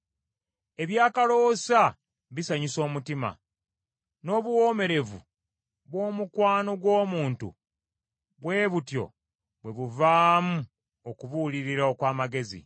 Ebyakaloosa bisanyusa omutima, n’obuwoomerevu bw’omukwano gw’omuntu bwe butyo bwe buvaamu okubuulirira okw’amazima.